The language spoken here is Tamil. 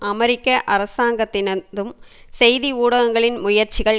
அமெரிக்க அரசாங்கத்தினதும் செய்தி ஊடகங்களின் முயற்சிகள்